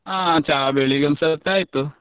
ಹಾ ಚಾ ಬೆಳಿಗ್ಗೆ ಒಂದು ಸತಿ ಆಯ್ತು.